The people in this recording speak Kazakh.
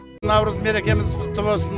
наурыз мерекеміз құтты болсын